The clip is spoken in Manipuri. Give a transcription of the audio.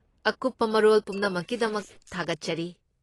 ꯑꯀꯨꯞꯄ ꯃꯔꯣꯜ ꯄꯨꯝꯅꯃꯛꯀꯤꯗꯃꯛ ꯊꯥꯒꯠꯆꯔꯤ꯫